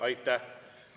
Aitäh!